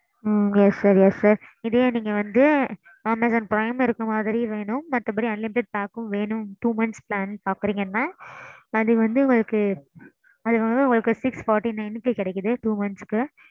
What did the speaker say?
ok sir. yes sir இதுவே நீங்க வந்து amazon prime இருக்குற மாதிரி வேணும். மத்தபடி unlimited pack ம் வேணும். two months plan பாக்குறீங்கனா. அது வந்து உங்களுக்கு. அது வந்து உங்களுக்கு அறநூத்தி நாற்பத்தி ஒன்பதுக்கு கிடைக்குது two months க்கு.